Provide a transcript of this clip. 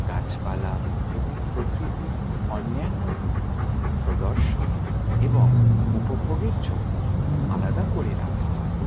গাছপালা এবং প্রকৃতির অন্যান্য রূপ প্রদর্শন এবং উপভোগের জন্য আলাদা করে রাখা হয়।